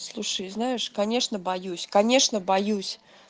слушай знаешь конечно боюсь конечно боюсь